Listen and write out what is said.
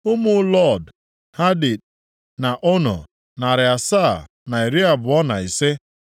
Ụmụ Lod, Hadid na Ono, narị asaa na iri abụọ na ise (725).